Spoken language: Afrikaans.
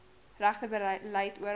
regte beleid oral